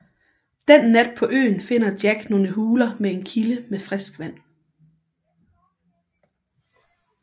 Den nat på øen finder Jack nogle huler med en kilde med frisk vand